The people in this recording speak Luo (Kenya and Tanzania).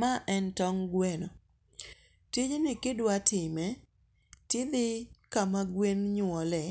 Ma en tong' gweno, tijni kidwatime tidhi kama gwen nyuole,